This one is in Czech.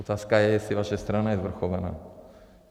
Otázka je, jestli vaše strana je svrchovaná.